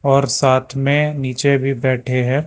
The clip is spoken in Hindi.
और साथ में नीचे भी बैठे हैं।